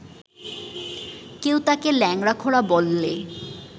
কেউ তাকে ল্যাংড়া-খোঁড়া বললে